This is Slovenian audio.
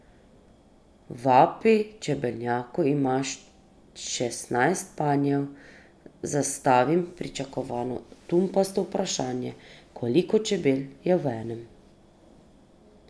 V api čebelnjaku ima šestnajst panjev, zastavim pričakovano tumpasto vprašanje, koliko čebel je v enem.